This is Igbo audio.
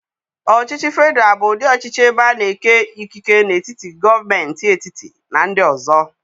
Ọchịchị federal bụ ụdị ọchịchị ebe a na-eke ikike n'etiti gọọmentị etiti na ndị ọzọ.